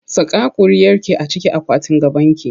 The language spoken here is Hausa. Saka ƙuriarki a cikin akwatin gabanki!